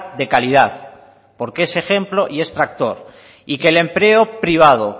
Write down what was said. de calidad porque es ejemplo y es tractor y que el empleo privado